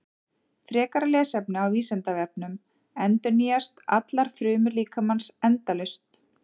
Frekara lesefni á Vísindavefnum: Endurnýjast allar frumur líkamans endalaust?